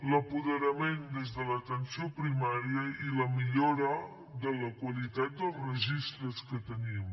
l’apoderament des de l’atenció primària i la millora de la qualitat dels registres que tenim